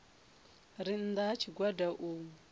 re nnda ha tshigwada u